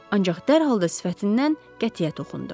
Ancaq dərhal da sifətindən qətiyyət oxundu.